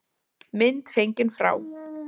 Mynd fengin frá